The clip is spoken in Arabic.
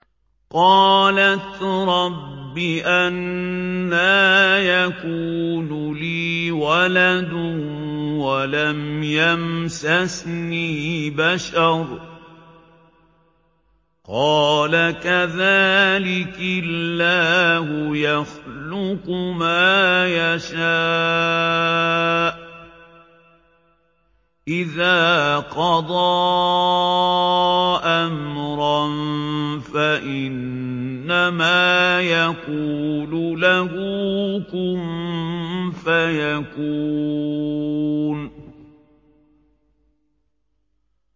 قَالَتْ رَبِّ أَنَّىٰ يَكُونُ لِي وَلَدٌ وَلَمْ يَمْسَسْنِي بَشَرٌ ۖ قَالَ كَذَٰلِكِ اللَّهُ يَخْلُقُ مَا يَشَاءُ ۚ إِذَا قَضَىٰ أَمْرًا فَإِنَّمَا يَقُولُ لَهُ كُن فَيَكُونُ